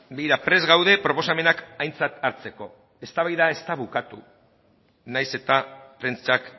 begira prest gaude proposamenak aintzat hartzeko eztabaida ez da bukatu nahiz eta prentsak